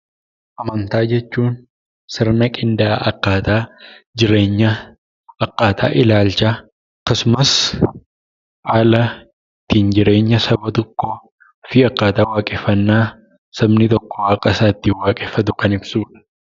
Amantaa jechuun sirna qindaa'aa akkaataa jireenyaa, akkaataa ilaalchaa, akkasumas haala ittiin jireenya saba tokkoo fi akkaataa waaqeffannaa sabni tokko waaqa isaa ittiin waaqeffatu kan ibsuu dha.